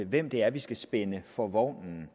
hvem det er vi skal spænde for vognen